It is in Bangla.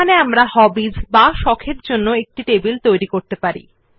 এখন আমরা হবিস এর জন্য এই নতুন নথিতে একটি টেবিল তৈরি করতে পারি